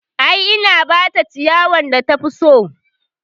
I, na bata ciyawan da tafi so